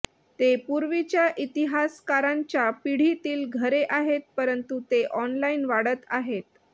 ते पूर्वीच्या इतिहासकारांच्या पिढीतील घरे आहेत परंतु ते ऑनलाइन वाढत आहेत